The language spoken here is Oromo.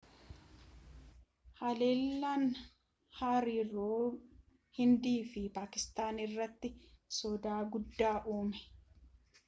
halellaan hariiroo hindii fi paakistaan irratti soda guddaa uume